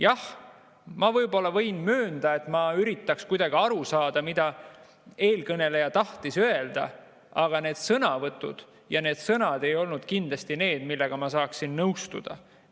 Jah, ma võin möönda, et ma üritan kuidagi aru saada, mida eelkõneleja tahtis öelda, aga see sõnavõtt ja need sõnad ei olnud kindlasti need, millega ma saaksin nõustuda.